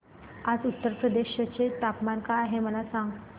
आज उत्तर प्रदेश चे तापमान काय आहे मला सांगा